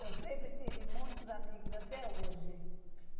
Eu sempre tive muitos amigos, até hoje.